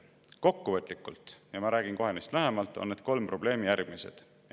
Kokkuvõtlikult – ja ma räägin kohe neist lähemalt – on need kolm probleemi järgmised.